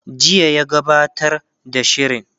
jiya ya gabbatar da shirin